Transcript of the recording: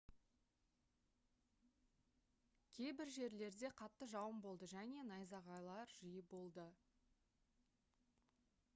кейбір жерлерде қатты жауын болды және найзағайлар жиі болды